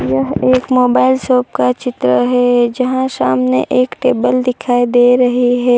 यह एक mobile shop का चित्र है जहां सामने एक टेबल दिखाई दे रही है।